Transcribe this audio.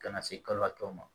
Ka na se kalo tɔw ma